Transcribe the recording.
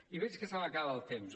i veig que se m’acaba el temps